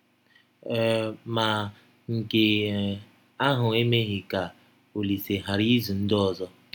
um Ma, nke um ahụ emeghị ka Ọlise ghara ịzụ ndị ọzọ.